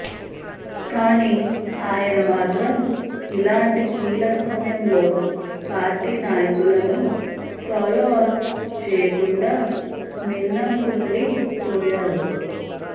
కానీ ఆయన మాత్రం ఇలాంటి కీలక సమయంలో పార్టీ నాయకులను ఫాలో అప్ చేయకుండా మిన్నంకుండి పోయారు